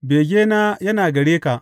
Begena yana a gare ka.